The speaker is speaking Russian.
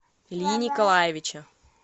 ильи николаевича